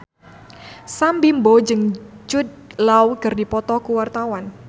Sam Bimbo jeung Jude Law keur dipoto ku wartawan